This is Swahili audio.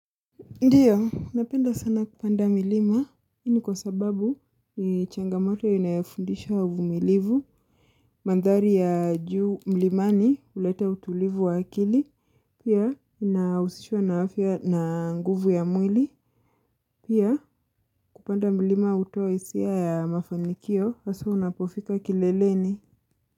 Ndiyo, napenda sana kupanda milima, ini kwa sababu ni changamoto inayofundisha uvumilivu, mandhari ya juu milimani, ulete utulivu wa akili, pia, inausishwa na afia na nguvu ya mwili, pia, kupanda milima uto isia ya mafanikio, haso unapofika kileleni.